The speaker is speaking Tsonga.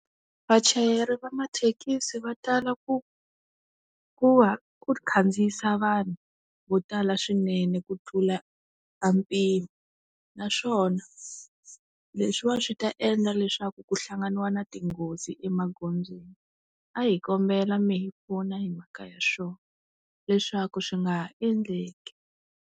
Vachayeri va mathekisi va tala ku ku va ku khandziyisa vanhu vo tala swinene ku tlula a mpimo naswona leswiwa swi ta endla leswaku ku hlanganiwa na tinghozi emagondzweni a hi kombela mi hi pfuna hi mhaka ya swona leswaku swi nga ha endleki.